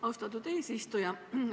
Austatud eesistuja!